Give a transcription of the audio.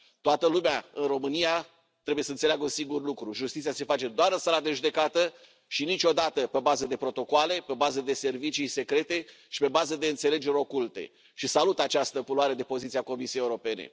Toată lumea, în România, trebuie să înțeleagă un singur lucru justiția se face doar în sala de judecată și niciodată pe bază de protocoale, pe bază de servicii secrete și pe bază de înțelegeri oculte și salut această luare de poziție a Comisiei Europene.